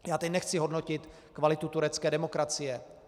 Já teď nechci hodnotit kvalitu turecké demokracie.